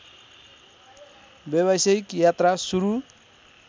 व्यवसायिक यात्रा सुरु